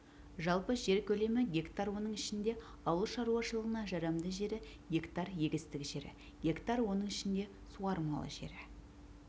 жалпы жер көлемі гектар оның ішінде ауыл шаруашылығына жарамды жері гектар егістік жері гектар оның ішінде суармалы жері